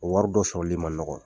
O wari dɔ sɔrɔli man nɔgɔn